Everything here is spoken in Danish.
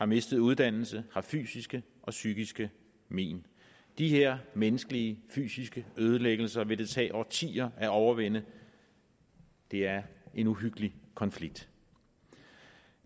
mistet uddannelse og har fysiske og psykiske men de her menneskelige fysiske ødelæggelser vil det tage årtier at overvinde det er en uhyggelig konflikt